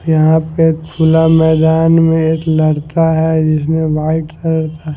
यहाँ पे खुला मैदान में एक लड़का है जिसने व्हाइट कलर का--